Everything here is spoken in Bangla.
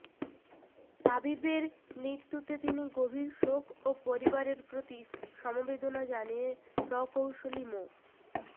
রাবিবের মৃত্যুতে তিনি গভীর শোক ও পরিবারের প্রতি সমবেদনা জানিয়ে প্রকৌশলী মো